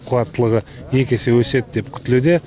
қуаттылығы екі есе өседі деп күтілуде